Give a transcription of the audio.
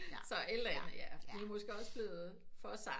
Så et eller andet vi er måske også blevet for sarte